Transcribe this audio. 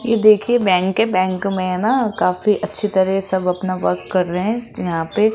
ये देखिए बैंक है। बैंक में है ना काफी अच्छी तरह सब अपना वर्क कर रे है। यहां पे--